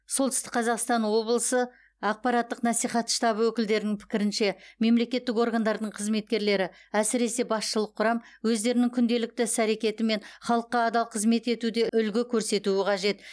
солтүстік қазақстан облысы ақпараттық насихат штабы өкілдерінің пікірінше мемлекеттік органдардың қызметкерлері әсіресе басшылық құрам өздерінің күнделікті іс әрекетімен халыққа адал қызмет етуде үлгі көрсетуі қажет